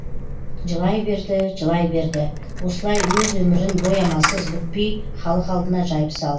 жылай берді жылай берді осылай өз өмірін боямасыз бүкпей халық алдына жайып сал